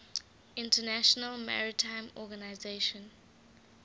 international maritime organization